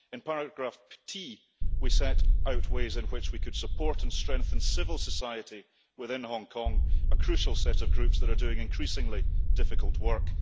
In paragraph 1 we set out ways in which we could support and strengthen civil society within Hong Kong, a crucial set of groups that are doing increasingly difficult work